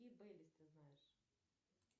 ты знаешь